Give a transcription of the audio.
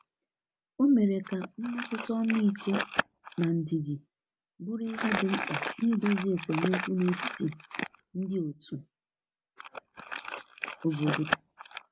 o mere ka mmetụta ọmịikọ na ndidi bụrụ ihe di mkpa n'idozi esemeokwu n'etiti ndi òtù obodo